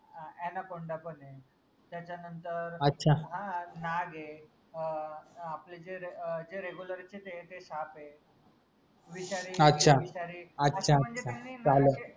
अं anaconda पन ए त्याच्या नंतर नाग ए अं आपले जे अं जे regular चे जे ए ते साप ए विषारी विषारी